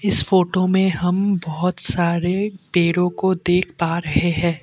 इस फोटो में हम बहुत सारे पेड़ों को देख पा रहे हैं ।